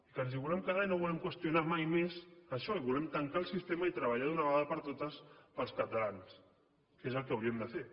que ens hi volem quedar i no volem qüestionar mai més això i volem tancar el sistema i treballar d’una vegada per totes pels catalans que és el que hauríem de fer